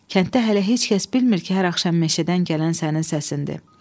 Kənddə hələ heç kəs bilmir ki, hər axşam meşədən gələn sənin səsindir.